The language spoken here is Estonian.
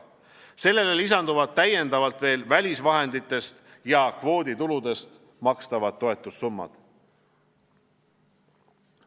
Sellele lisanduvad täiendavalt veel välisvahenditest ja kvoodituludest makstavad toetussummad.